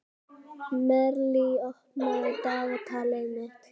Marley, opnaðu dagatalið mitt.